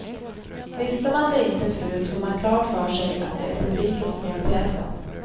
Visste man det inte förut får man klart för sig att det är publiken som gör pjäsen.